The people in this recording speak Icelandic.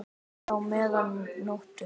enn þá meðan nóttu